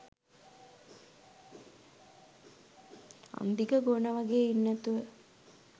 අංදිග ගෝණා වගේ ඉන්නේ නැතුව